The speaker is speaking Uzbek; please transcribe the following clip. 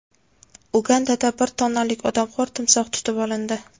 Ugandada bir tonnalik odamxo‘r timsoh tutib olindi.